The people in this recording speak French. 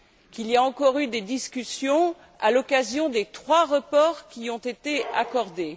qu'il y a encore eu des discussions à l'occasion des trois reports qui ont été accordés.